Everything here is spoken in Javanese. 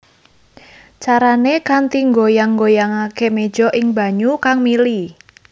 Carané kanthi nggoyang nggoyangaké méja ing banyu kang mili